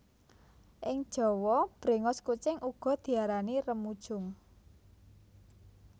Ing Jawa bréngos kucing uga diarani remujung